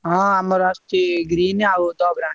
ହଁ ଆମର ଆସୁଛି green ଆଉ ।